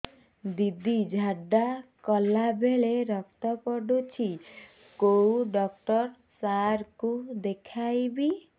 ଦିଦି ଝାଡ଼ା କଲା ବେଳେ ରକ୍ତ ପଡୁଛି କଉଁ ଡକ୍ଟର ସାର କୁ ଦଖାଇବି